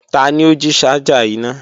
Tani o ji ṣaja ina?